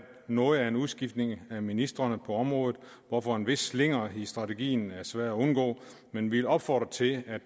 noget af en udskiftning af ministrene på området hvorfor en vis slinger i strategien er svær at undgå men vi opfordrer til at